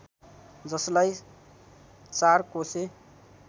जसलाई चारकोसे